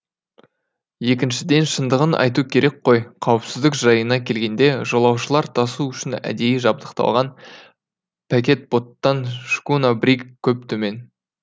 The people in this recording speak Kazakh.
екіншіден шындығын айту керек қой қауіпсіздік жайына келгенде жолаушылар тасу үшін әдейі жабдықталған пакетботтан шкуна бриг көп төмен